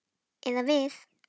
Eða við.